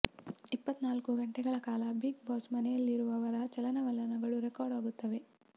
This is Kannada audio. ಇಪ್ಪತ್ತನಾಲ್ಕು ಗಂಟೆಗಳ ಕಾಲ ಬಿಗ್ ಬಾಸ್ ಮನೆಯಲ್ಲಿರುವವರ ಚಲನವಲನಗಳು ರೆಕಾರ್ಡ್ ಆಗುತ್ತವೆ